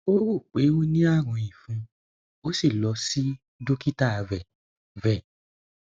ó rò pé ó ní àrùn ìfun ó sì lọ sí dókítà rẹ rẹ